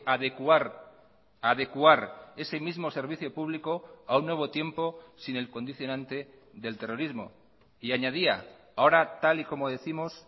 adecuar adecuar ese mismo servicio público a un nuevo tiempo sin el condicionante del terrorismo y añadía ahora tal y como décimos